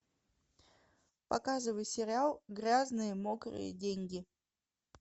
показывай сериал грязные мокрые деньги